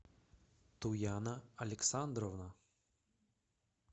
туяна александровна